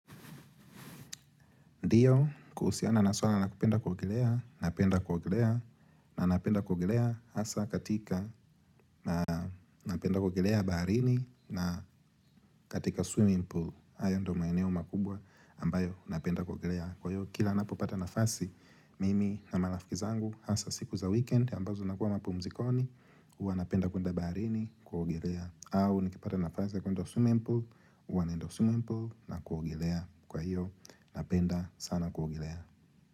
Ndiyo, kuhusiana na swara na kupenda kuogelea, napenda kuogelea, na napenda kugolea hasa katika, napenda kugolea baharini na katika swimming pool, ayo ndo maeneo makubwa ambayo napenda kugolea. Kwa hiyo, kila napo pata nafasi, mimi na malafikizangu hasa siku za weekend, ambazo nakua mapu mzikoni, uwa napenda kunda baharini kugolea. Au, nikipata nafasi ya kwenda swimming pool, uwa naenda swimming pool na kugolea. Kwa hiyo, napenda sana kugilea.